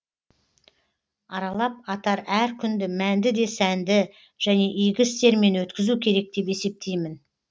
аралап атар әр күнді мәнді де сәнді және игі істермен өткізу керек деп есептеймін